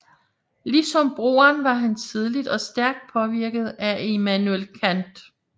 Ligesom broren var han tidligt og stærkt påvirket af Immanuel Kant